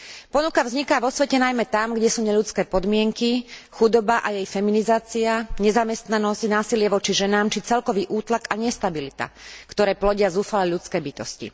Ponuka vzniká vo svete najmä tam, kde sú neľudské podmienky, chudoba a jej feminizácia, nezamestnanosť, násilie voči ženám či celkový útlak a nestabilita, ktoré plodia zúfalé ľudské bytosti.